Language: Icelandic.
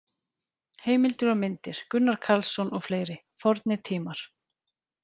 Heimildir og myndir: Gunnar Karlsson og fleiri: Fornir tímar.